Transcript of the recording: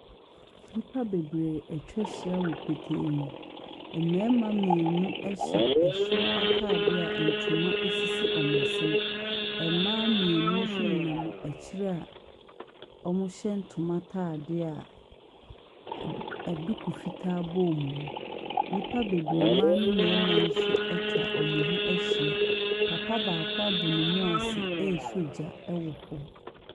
Nnipa bebree atwa ahyia wɔ petee mu. Mmarima mmienu hyɛ soro atadeɛ a ntoma sisi wɔn asene. Mmaa mmienu nso nenam akyire a wɔhyɛ ntoma atadeɛ a ad aduku fitaa bɔ wɔn mu. Nnipa bebree, mmaa ne mmarima nso atwa wɔn ho ahyia. Papa baako abɔ ne mu ase resɔ gya wɔ hɔ.